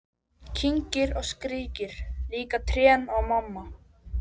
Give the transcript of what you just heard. Kyngir og skríkir: Líka trén og mamma.